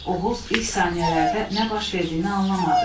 Oğuz ilk saniyələrdə nə baş verdiyini anlamadı.